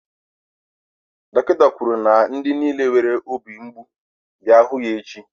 dọkịta kwuru na ndị niile nwere obi mgbu bịa hụ ya echi.